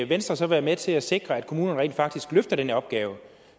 venstre så være med til at sikre at kommunerne rent faktisk løfter den her opgave